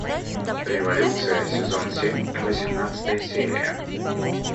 революция сезон семь восемнадцатая серия